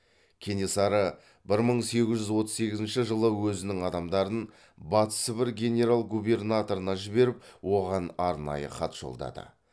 кенесары бір мың сегіз жүз отыз сегізінші жылы өзінің адамдарын батыс сібір генерал губернаторына жіберіп оған арнайы хат жолдады